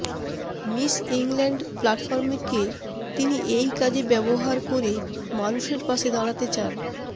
miss England প্ল্যাটফর্মকে তিনি এই কাজে ব্যবহার করে মানুষের পাশে দাঁড়াতে চান